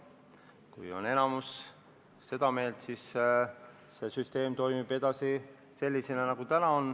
Kui enamus on seda meelt, siis süsteem toimib edasi sellisena, nagu see täna on.